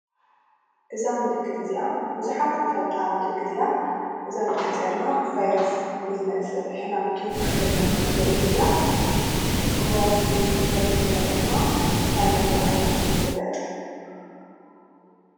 እዛ ምልክት እዚኣ ብዙሓት እንፈልጣ ምልክት እያ። እዚኣ ምልክት እዚኣ ድማ ብቫይረስ ንዝመፅእ ሕማም ትውክለልና ምልክት እያ። እሞ እዚ ብቫይረስ ዝመፅእ ሕማም እንታይ እናተብሃለ ይፍለጥ?